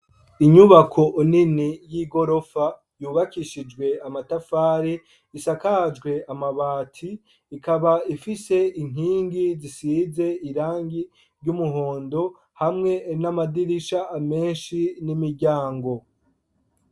Inyubako nini y'igorofa yubakishijwe amatafari isakajwe amabati ikaba ifise inkingi zisize irangi ry'umuhondo hamwe n'amadirisha meshi n'imiryango.